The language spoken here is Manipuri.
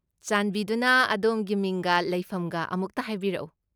ꯆꯥꯟꯕꯤꯗꯨꯅ ꯑꯗꯣꯝꯒꯤ ꯃꯤꯡꯒ ꯂꯩꯐꯝꯒ ꯑꯃꯨꯛꯇ ꯍꯥꯏꯕꯤꯔꯛꯎ?